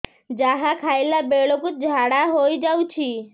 ଯାହା ଖାଇଲା ବେଳକୁ ଝାଡ଼ା ହୋଇ ଯାଉଛି